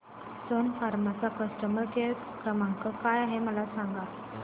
सन फार्मा चा customer care क्रमांक काय आहे मला सांगा